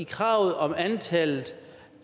kravet om antallet